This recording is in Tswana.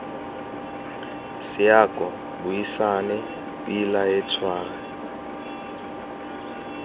seako buisane pila he tshwara